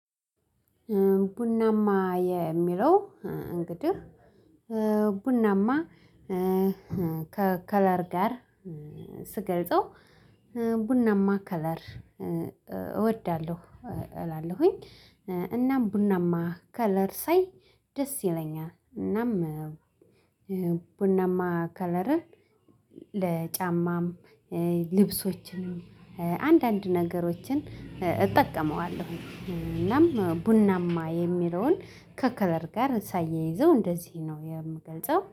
ቡናማ የሚለው እንግዲህ ቡናማ ከከለር ጋር ስገልጸው ቡናማ ከለር እወዳለሁ እላለሁኝ። እናም ቡናማ ከለር ሳይ ደስ ይለኛል። እናም ቡናማ ከለርን ለጫማም ልብሶችንም አንዳንድ ነገሮችን እጠቀመዋለሁ። እናም ቡናማ የሚለውን ከከለር ጋር ሳያይዘው እንደዚህ ነው የምገልጸው